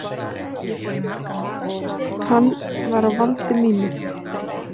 Hann var á valdi mínu.